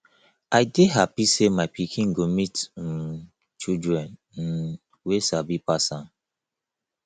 i dey happy say my pikin go meet um children um wey sabi pass am